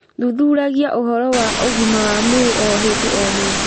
Thuthuragia ũhoro wa ũgima wa mwĩrĩ o hĩndĩ o hĩndĩ